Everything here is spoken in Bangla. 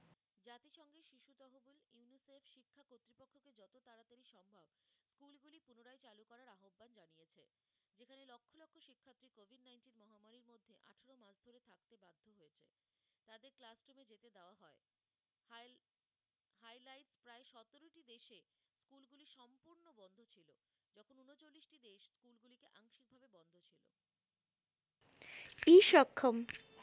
ই সক্ষম